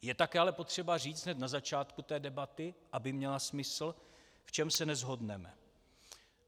Je také ale potřeba říct hned na začátku té debaty, aby měla smysl, v čem se neshodneme.